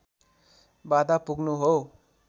बाधा पुग्नु हो